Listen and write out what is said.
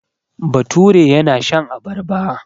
Bature yana shan abarba.